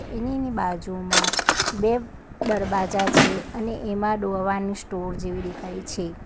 TV ની બાજુમાં બે દરવાજા છે અને એમાં દવાની સ્ટોર જેવી દેખાય છે.